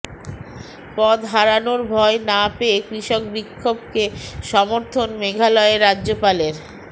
পদ হারানোর ভয় না পেয়ে কৃষক বিক্ষোভকে সমর্থন মেঘালয়ের রাজ্যপালের